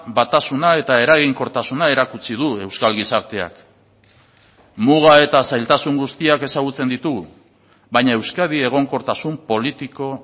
batasuna eta eraginkortasuna erakutsi du euskal gizarteak muga eta zailtasun guztiak ezagutzen ditugu baina euskadi egonkortasun politiko